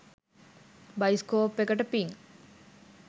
Bioscope එකට පින්.